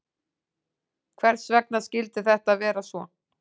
Hvers vegna skyldi þetta vera svo?